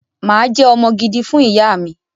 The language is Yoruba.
Mà á jẹ́ ọmọ gidi fún ìyá mi